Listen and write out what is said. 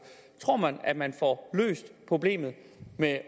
tror man at man får løst problemet med